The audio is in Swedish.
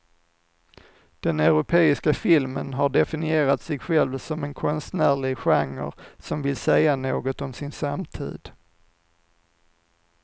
Den europeiska filmen har definierat sig själv som en konstnärlig genre som vill säga något om sin samtid.